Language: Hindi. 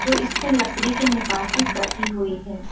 इसमें लकड़ी के निकासी कटी हुई है।